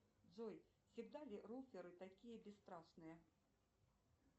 джой всегда ли руферы такие бесстрашные